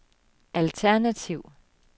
alternativ